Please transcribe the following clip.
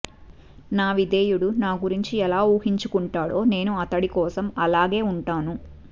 నా విధేయుడు నా గురించి ఎలా ఊహించుకుంటాడో నేడు అతడి కోసం అలాగే ఉంటాను